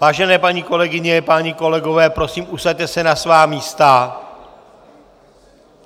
Vážené paní kolegyně, páni kolegové, prosím, usaďte se na svá místa!